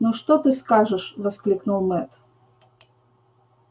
ну что ты скажешь воскликнул мэтт